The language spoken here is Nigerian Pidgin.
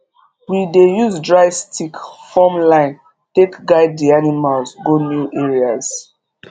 we dey use dry stick form line take guide d animals go new areas